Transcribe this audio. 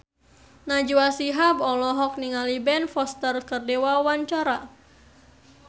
Najwa Shihab olohok ningali Ben Foster keur diwawancara